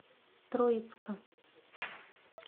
троицка